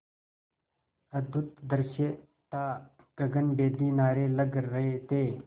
अद्भुत दृश्य था गगनभेदी नारे लग रहे थे